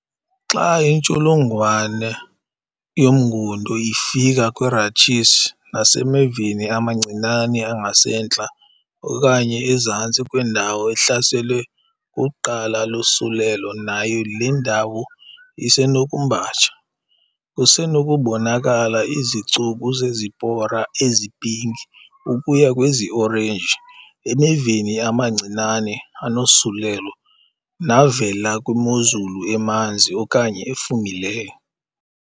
Xa intsholongwane yomngundo ifika kwi-rachis, nasemeveni amancinane angasentla okanye ezantsi kwendawo ehlaselwe kuqala lusulelo nayo le ndawo isenokumbatsha. Kusenokubonakala izicuku zezipora ezipinki ukuya kweziorenji emeveni amancinane anosulelo navela kwimozulu emanzi, okanye efumileyo.